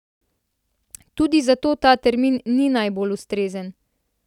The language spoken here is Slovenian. Tudi zato ta termin ni najbolj ustrezen.